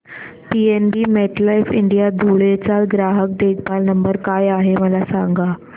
PNB MetLife India Dhule चा ग्राहक देखभाल नंबर काय आहे मला सांगा